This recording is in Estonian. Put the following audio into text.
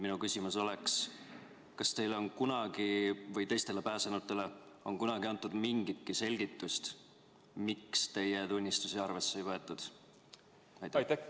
Minu küsimus oleks: kas teile või teistele pääsenutele on kunagi antud mingitki selgitust, miks teie tunnistusi arvesse ei võetud?